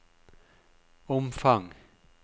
omfang